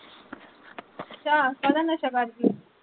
ਅੱਛਾ ਕਾਹਦਾ ਨਸ਼ਾ ਕਰਦੀ ਆ